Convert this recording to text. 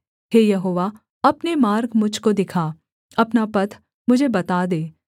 हे Jehovah अपने मार्ग मुझ को दिखा अपना पथ मुझे बता दे